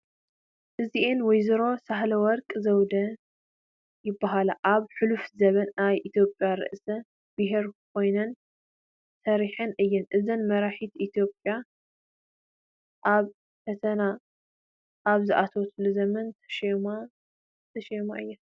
እዚአን ወይዘሮ ሳህለወርቅ ዘውዴ ይበሃላ፡፡ ኣብ ሕሉፍ ዘመን ናይ ኢትዮጵያ ርእሰ ብሄር ኮይነን ሰሪሐን እየን፡፡ እዘን መራሒት ኢትዮጵያ ኣብ ፈተና ኣብ ዝኣተወትሉ ዘመን ዝተሾማ እየን፡፡